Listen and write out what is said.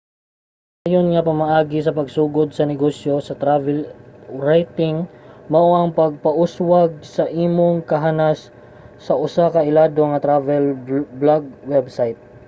ang pinakasayon nga pamaagi sa pagsugod sa negosyo sa travel writing mao ang pagpauswag sa imong kahanas sa usa ka ilado nga travel blog website